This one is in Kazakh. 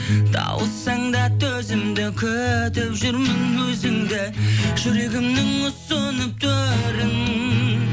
тауыссаң да төзімді күтіп жүрмін өзіңді жүрегімнің ұсынып төрін